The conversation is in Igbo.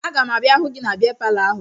Aga m abịa hụ gị na bịa palọ ahụ